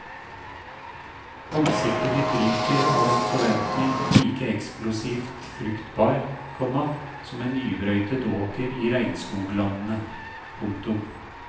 Ansiktet ditt ryker av en forventning like eksplosivt fruktbar, komma som en nybrøytet åker i regnskoglandene. punktum